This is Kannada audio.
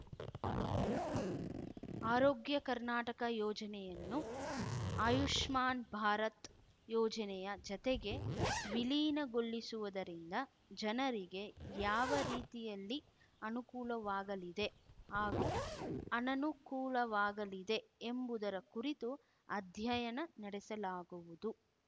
ಆರೋಗ್ಯ ಕರ್ನಾಟಕ ಯೋಜನೆಯನ್ನು ಆಯುಷ್ಮಾನ್‌ ಭಾರತ್‌ ಯೋಜನೆಯ ಜತೆಗೆ ವಿಲೀನ ಗೊಳಿಸುವುದರಿಂದ ಜನರಿಗೆ ಯಾವ ರೀತಿಯಲ್ಲಿ ಅನುಕೂಲವಾಗಲಿದೆ ಹಾಗೂ ಅನನುಕೂಲವಾಗಿದೆ ಎಂಬುದರ ಕುರಿತು ಅಧ್ಯಯನ ನಡೆಸಲಾಗುವುದು